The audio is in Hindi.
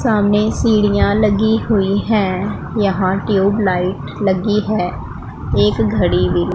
सामने सीढ़ीया लगी हुई है यहां ट्यूबलाइट लगी है एक घड़ी भी--